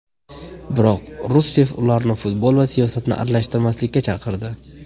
Biroq Russeff ularni futbol va siyosatni aralashtirmaslikka chaqirdi.